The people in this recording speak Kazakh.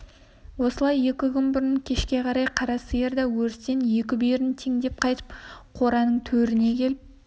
осылай екі күн бұрын кешке қарай қара сиыр да өрістен екі бүйірін теңдеп қайтып қораның төріне келіп